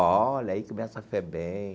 Olha aí, começa a FEBEM.